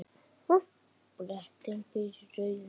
Bretinn býr í rauða húsinu.